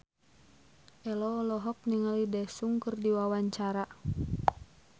Ello olohok ningali Daesung keur diwawancara